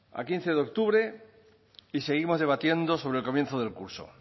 a quince de octubre y seguimos debatiendo sobre el comienzo del curso